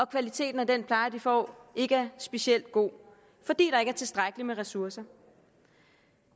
kvaliteten af den pleje de får ikke er specielt god fordi der ikke er tilstrækkeligt med ressourcer